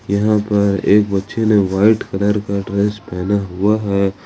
यहां पर एक बच्चे ने व्हाइट कलर का ड्रेस पहना हुआ है।